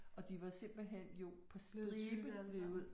Og de var simelthen jo på stribe altså